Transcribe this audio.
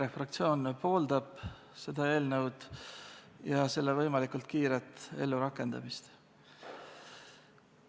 EKRE fraktsioon pooldab seda eelnõu, ka selle võimalikult kiiret ellurakendamist.